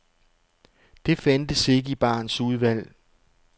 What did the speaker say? Det fandtes ikke i barens udvalg.